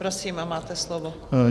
Prosím, máte slovo.